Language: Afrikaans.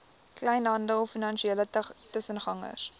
kleinhandel finansiële tussengangers